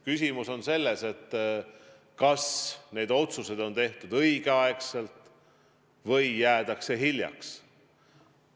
Küsimus on selles, kas need otsused on tehtud õigel ajal või on jäädud hiljaks.